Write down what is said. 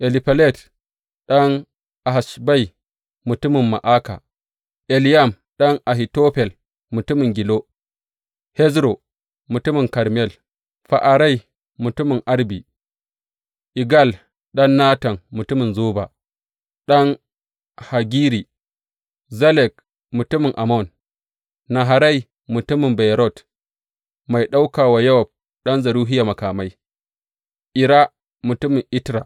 Elifelet, ɗan Ahasbai mutumin Ma’aka, Eliyam, ɗan Ahitofel mutumin Gilo, Hezro, mutumin Karmel, Fa’arai, mutumin Arbi, Igal, ɗan Natan mutumin Zoba, ɗan Hagiri, Zelek, mutumin Ammon Naharai, mutumin Beyerot mai ɗaukan wa Yowab, ɗan Zeruhiya makamai, Ira, mutumin Itra.